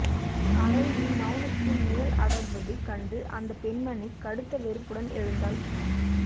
அறையில் மெளனத்தின் நிழல் அடர்வது கண்டு அந்தப் பெண்மணி கடுத்த வெறுப்புடன் எழுந்தாள்